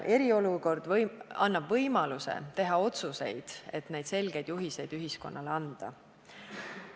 Eriolukord annab võimaluse teha otsuseid, et neid selgeid juhiseid ühiskonnale edastada.